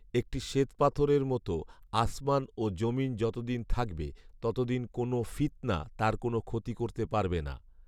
একটি শ্বেত পাথরের মত; আসমান ও যমীন যতদিন থাকবে ততদিন কোন ফিৎনা তার কোন ক্ষতি করতে পারবে না